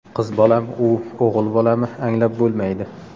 Qiz bolami u, o‘g‘il bolami anglab bo‘lmaydi.